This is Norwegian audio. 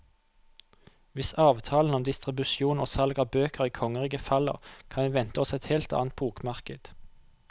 Hvis avtalen om distribusjon og salg av bøker i kongeriket faller, kan vi vente oss et helt annet bokmarked.